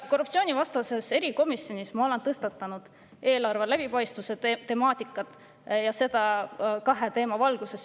Korruptsioonivastases erikomisjonis ma olen tõstatanud eelarve läbipaistvuse temaatika, ja seda kahe teema valguses.